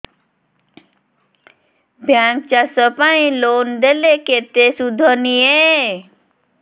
bank ଚାଷ ପାଇଁ loan ଦେଲେ କେତେ ସୁଧ ନିଏ